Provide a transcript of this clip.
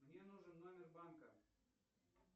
мне нужен номер банка